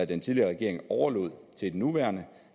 den tidligere regering overlod til den nuværende